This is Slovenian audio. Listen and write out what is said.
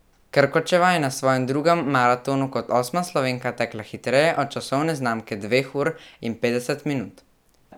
Krkočeva je na svojem drugem maratonu kot osma Slovenka tekla hitreje od časovne znamke dveh ur in petdeset minut.